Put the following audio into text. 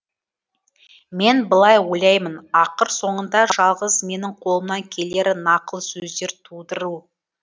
мен былай ойлаймын ақыр соңында жалғыз менің қолымнан келері нақыл сөздер тудыру